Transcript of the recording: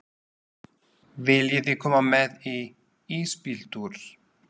Viljiði koma með í ísbíltúr?